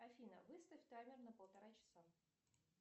афина выставь таймер на полтора часа